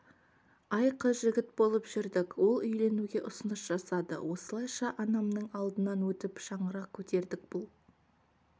ай қыз-жігіт болып жүрдік ол үйленуге ұсыныс жасады осылайша анамның алдынан өтіп шаңырақ көтердік бұл